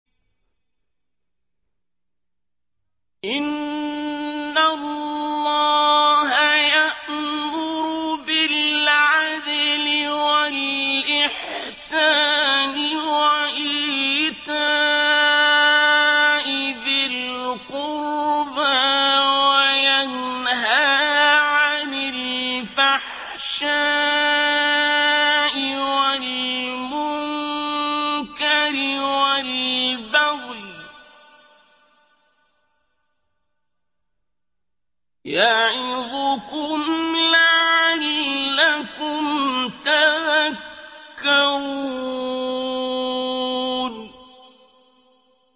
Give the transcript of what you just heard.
۞ إِنَّ اللَّهَ يَأْمُرُ بِالْعَدْلِ وَالْإِحْسَانِ وَإِيتَاءِ ذِي الْقُرْبَىٰ وَيَنْهَىٰ عَنِ الْفَحْشَاءِ وَالْمُنكَرِ وَالْبَغْيِ ۚ يَعِظُكُمْ لَعَلَّكُمْ تَذَكَّرُونَ